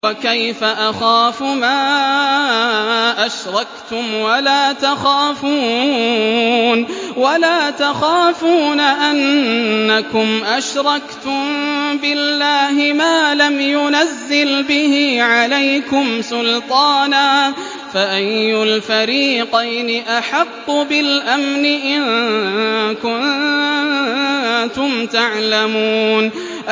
وَكَيْفَ أَخَافُ مَا أَشْرَكْتُمْ وَلَا تَخَافُونَ أَنَّكُمْ أَشْرَكْتُم بِاللَّهِ مَا لَمْ يُنَزِّلْ بِهِ عَلَيْكُمْ سُلْطَانًا ۚ فَأَيُّ الْفَرِيقَيْنِ أَحَقُّ بِالْأَمْنِ ۖ إِن كُنتُمْ تَعْلَمُونَ